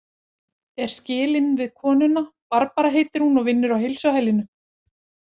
Er skilinn við konuna, Barbara heitir hún og vinnur á heilsuhælinu.